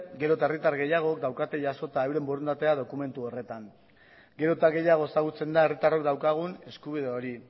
gero eta herritar gehiagok daukate jasota euren borondatea dokumentu horretan gero eta gehiago ezagutzen da herritarrok daukagun eskubide hori